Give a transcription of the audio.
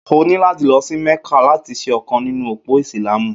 O ni láti lọ sí Mẹ́kà láti ṣe ọ̀kan nínú òpó Ìsìlámù.